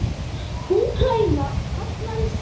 Úkraína fagnaði sigri